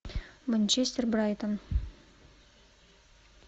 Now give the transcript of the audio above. манчестер брайтон